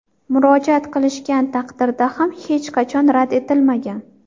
Murojaat qilishgan taqdirda ham hech qachon rad etilmagan.